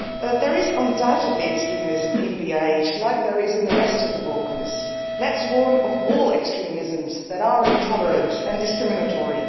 There is undoubtedly extremism in BiH, as there is in the rest of the Balkans. Let us warn of all extremisms that are intolerant and discriminatory.